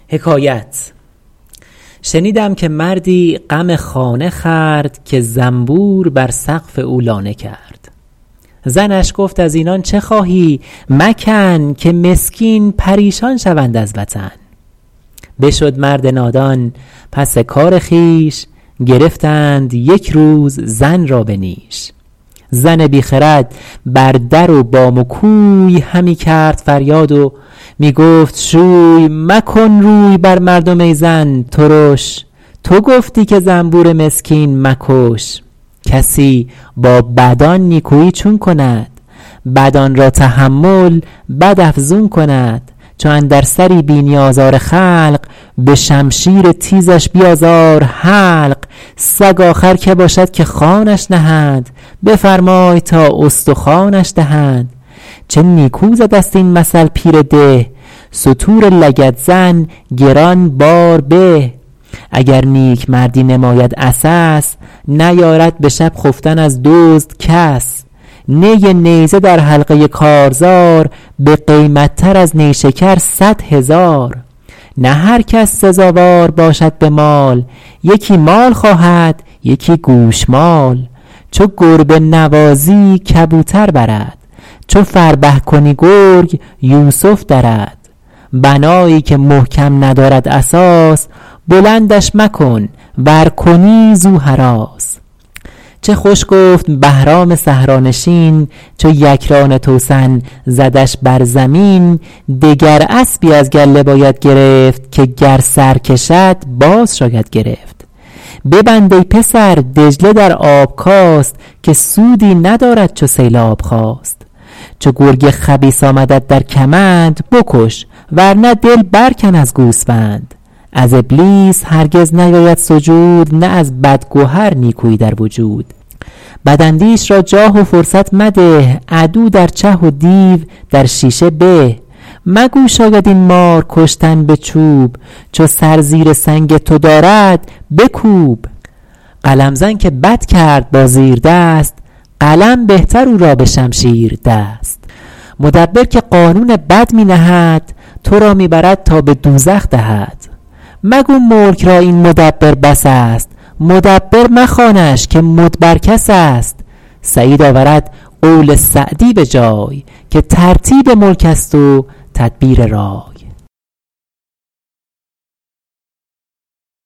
شنیدم که مردی غم خانه خورد که زنبور بر سقف او لانه کرد زنش گفت از اینان چه خواهی مکن که مسکین پریشان شوند از وطن بشد مرد نادان پس کار خویش گرفتند یک روز زن را به نیش زن بی خرد بر در و بام و کوی همی کرد فریاد و می گفت شوی مکن روی بر مردم ای زن ترش تو گفتی که زنبور مسکین مکش کسی با بدان نیکویی چون کند بدان را تحمل بد افزون کند چو اندر سری بینی آزار خلق به شمشیر تیزش بیازار حلق سگ آخر که باشد که خوانش نهند بفرمای تا استخوانش دهند چه نیکو زده ست این مثل پیر ده ستور لگدزن گران بار به اگر نیکمردی نماید عسس نیارد به شب خفتن از دزد کس نی نیزه در حلقه کارزار بقیمت تر از نیشکر صد هزار نه هر کس سزاوار باشد به مال یکی مال خواهد یکی گوشمال چو گربه نوازی کبوتر برد چو فربه کنی گرگ یوسف درد بنایی که محکم ندارد اساس بلندش مکن ور کنی زو هراس چه خوش گفت بهرام صحرانشین چو یکران توسن زدش بر زمین دگر اسبی از گله باید گرفت که گر سر کشد باز شاید گرفت ببند ای پسر دجله در آب کاست که سودی ندارد چو سیلاب خاست چو گرگ خبیث آمدت در کمند بکش ور نه دل بر کن از گوسفند از ابلیس هرگز نیاید سجود نه از بد گهر نیکویی در وجود بد اندیش را جاه و فرصت مده عدو در چه و دیو در شیشه به مگو شاید این مار کشتن به چوب چو سر زیر سنگ تو دارد بکوب قلم زن که بد کرد با زیردست قلم بهتر او را به شمشیر دست مدبر که قانون بد می نهد تو را می برد تا به دوزخ دهد مگو ملک را این مدبر بس است مدبر مخوانش که مدبر کس است سعید آورد قول سعدی به جای که ترتیب ملک است و تدبیر رای